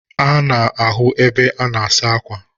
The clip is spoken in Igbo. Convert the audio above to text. Ana ahu ebe ana asa akwa